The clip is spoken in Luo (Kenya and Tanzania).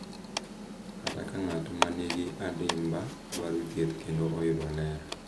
Kata ka ng’at ma nigi adimba dwaro thieth kendo oyudo ler,